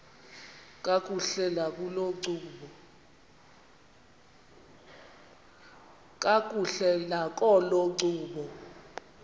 kakuhle nakolo ncumo